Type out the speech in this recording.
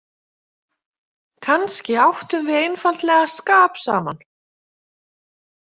Kannski áttum við einfaldlega skap saman.